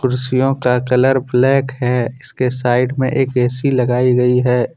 कुर्सियों का colour black है इसके साइड में एक ऐ _सी लगायी गयी है।